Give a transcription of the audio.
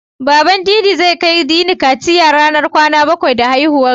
Baban Dini ya ce, zai kai Dini kaciya ranar kwana bakwai da haihuwarsa.